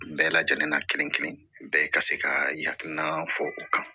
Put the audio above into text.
Bɛɛ lajɛlen na kelen kelen bɛɛ ka se ka hakilina fɔ o kan